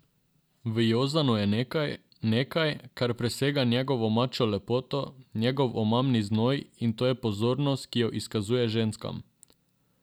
V Jozanu je nekaj, nekaj, kar presega njegovo mačjo lepoto, njegov omamni znoj, in to je pozornost, ki jo izkazuje ženskam.